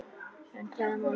En hvaða máli skiptir hann?